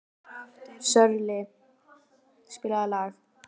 Sörli, spilaðu lag.